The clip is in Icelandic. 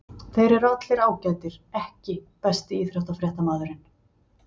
Þeir eru allir ágætir EKKI besti íþróttafréttamaðurinn?